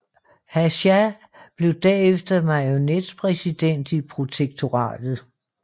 Hácha blev derefter marionetpræsident i protektoratet